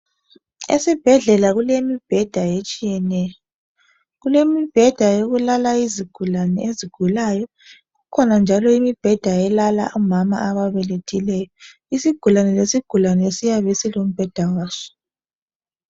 esibhedlela kulemibheda etshiyeneyo kulemibheda yokulala izigulane ezigulayo kukhona njalo imibheda elala omama ababelethileyo isgulane lesigulane siyabe silombheda waso